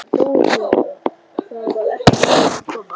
THEODÓRA: Það var ekki þeim að kenna.